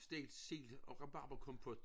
Stegt sild og rabarberkompot